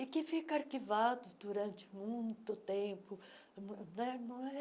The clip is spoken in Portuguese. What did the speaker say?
e que fica arquivado durante muito tempo. mu né mu eh